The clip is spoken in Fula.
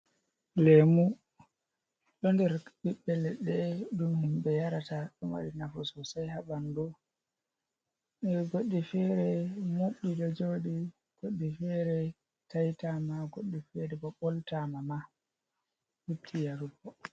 Lemu ɗo nder ɓiɓɓe ledɗe ɗum himɓe yarata, ɗomari nafu sosai ha ɓandu, goddi fere mobti ɗo joɗi goɗɗi fere taitama, goɗɗi fere bo ɓoltama ma, lutti yarugo.